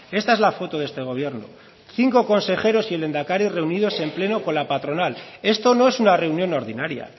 esta es la foto de este gobierno cinco consejeros y el lehendakari reunidos en pleno con la patronal esto no es una reunión ordinaria